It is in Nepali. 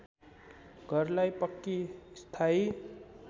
घरलाई पक्की स्थायी